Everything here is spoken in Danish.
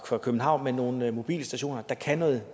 københavn men nogle mobilstationer der kan noget